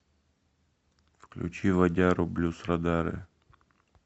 включи вадяру блюз радары